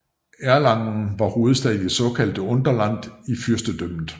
Erlangen var hovedstad i det såkaldte Unterland i fyrstedømmet